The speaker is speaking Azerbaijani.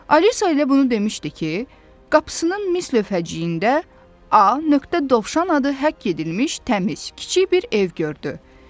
Alisa elə bunu demişdi ki, qapısının mis lövhəciyində A. Dovşan adı həkk edilmiş təmiz, kiçik bir ev gördü.